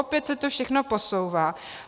Opět se to všechno posouvá.